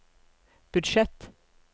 budsjett